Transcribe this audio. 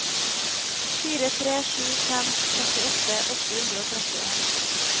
fire tre sju fem trettiåtte åtte hundre og trettien